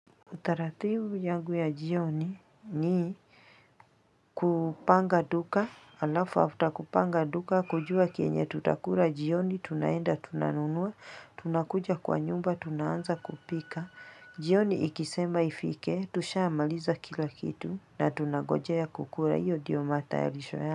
Utaratibu yangu ya jioni ni kupanga duka, alafu after kupanga duka, kujua kienye tutakula jioni, tunaenda, tunanunua, tunakuja kwa nyumba, tunaanza kupika, jioni ikisema ifike, tusha maliza kila kitu na tunagojea kukula, hiyo ndiyo matayarisho ya.